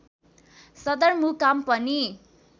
सदरमुकाम पनि